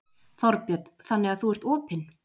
Þorbjörn: Þannig að þú ert opinn?